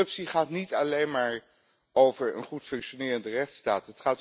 Corruptie gaat niet alleen maar over een goed functionerende rechtsstaat.